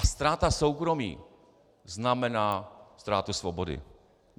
A ztráta soukromí znamená ztrátu svobody.